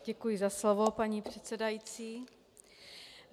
Děkuji za slovo, paní předsedající.